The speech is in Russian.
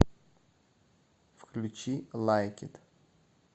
включи лайк ит